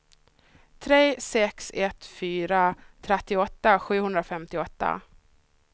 tre sex ett fyra trettioåtta sjuhundrafemtioåtta